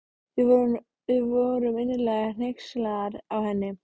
Við vorum innilega hneykslaðar á henni.